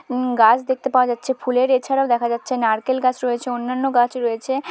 উম গাছ দেখতে পাওয়া যাচ্ছে ফুলের এছাড়াও দেখা যাচ্ছে নারকেল রয়েছে অন্যান্য গাছও রয়েছে।